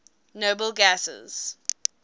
noble gases